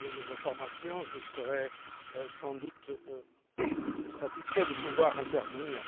Si j'ai des informations, je serai sans doute satisfait de pouvoir intervenir.